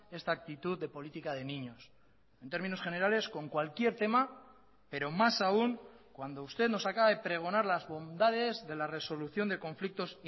esta actitud de política de niños en términos generales con cualquier tema pero más aún cuando usted nos acaba de pregonar las bondades de la resolución de conflictos